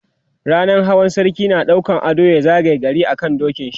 rannan Hawa sarki na ɗaukan ado ya zagaye gari a kan dokin shi